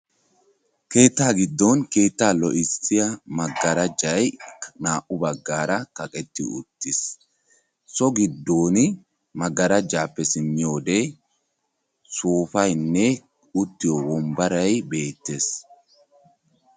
Keetta giddon keetta lo"issiya magarajjay naa"u baggaara kaqqetti uttiis. So giddon magarajjappe simmiyoode sooppaynne uuttiyo wombbaray beettees.